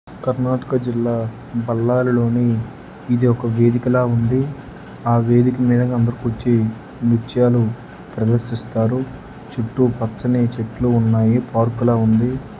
కర్ణాటక జిల్లా బళ్ళారి లో ని ఇది ఒక వేదిక ఉండి వేదికూర్చి వచ్చాడు ప్రదేశం ఇచ్చారు ఇటు పరిచాడు ఉన్నాయి పార్క్ ఉండి